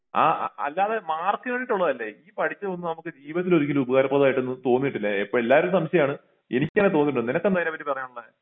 ആ അല്ലാതെ മാർക്കിന് വേണ്ടിട്ട് ഉള്ളതല്ല ഈ പഠിച്ചത് ഒന്നും നമുക്ക് ജീവിതത്തിൽ ഒരിക്കലും ഉപകാരപ്രദം ആയിട്ട് തോന്നിട്ടില്ല എപ്പോ എല്ലാരും സംശയം ആണ് എനിക്ക് അങ്ങിനെ തോനീട്ടില്ല നിനക്ക് എന്താ അയിനെ പറ്റി പറയാൻ ഉള്ളെ